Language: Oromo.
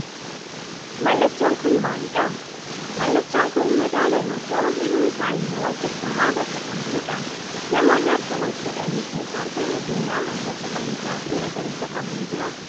Mallatoon kun maali dha? Mallattoon kun madaala yoo ta'u hiikni isaa immoo walqixxummaa bakka kan bu'uudha. Namoonni harka wal fuudhani fi kaartaan addunyaa halluu cuquliisaa fi magariisa qabu ni jira.